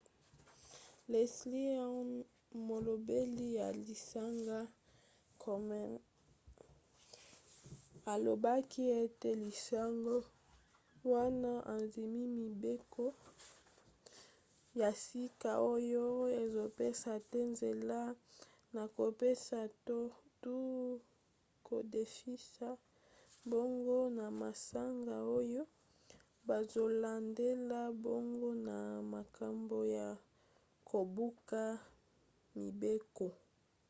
leslie aun molobeli ya lisanga komen alobaki ete lisanga wana endimi mibeko ya sika oyo ezopesa te nzela na kopesa to kodefisa mbongo na masanga oyo bazolandela bango na makambo ya kobuka mibeko